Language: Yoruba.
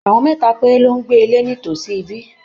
Àwọn mẹ́ta péré ló ń gbé ní ilé nítòsí ibí.